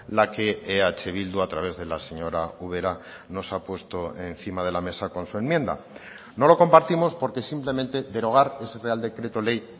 la que eh bildu a través de la señora ubera nos ha puesto encima de la mesa con su enmienda no lo compartimos porque simplemente derogar ese real decreto ley